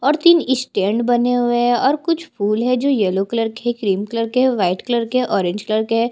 और तीन स्टैंड बने हुए है और कुछ फूल है जो येलो कलर के क्रीम कलर के व्हाइट कलर के है ऑरेंज कलर के--